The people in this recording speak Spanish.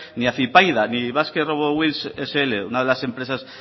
ni afypaida ni basque robot wheels scincuenta una de las empresas